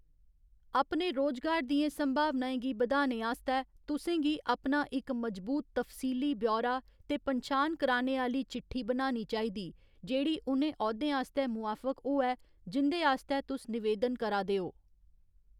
अपने रोजगार दियें संभावनाएं गी बधाने आस्तै, तुसें गी अपना इक मजबूत तफसीली ब्यौरा ते पन्छान कराने आह्‌ली चिट्ठी बनानी चाहिदी जेह्‌‌ड़ी उ'नें औह्‌दें आस्तै मुआफक होऐ, जिं'दे आस्तै तुस नवेदन करा दे ओ।